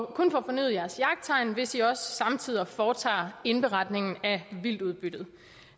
kun få fornyet jeres jagttegn hvis i også samtidig foretager indberetning af vildtudbyttet